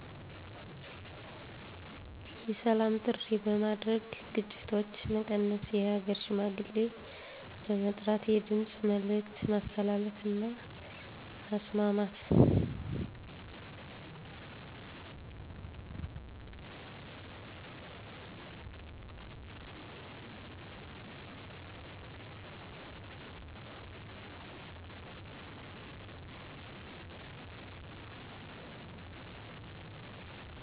የሰላም ጥሪ በማድረግ ግጭቶች መቀነስ የሃገር ሽማግሌ በመጥራት የድምፅ መልዕክት ማስተላለፍ እና ማስማማት